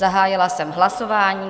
Zahájila jsem hlasování.